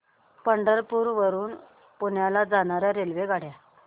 पंढरपूर वरून पुण्याला जाणार्या रेल्वेगाड्या